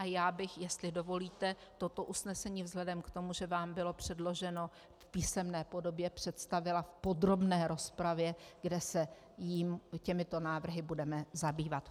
A já bych, jestli dovolíte, toto usnesení vzhledem k tomu, že vám bylo předloženo v písemné podobě, představila v podrobné rozpravě, kde se těmito návrhy budeme zabývat.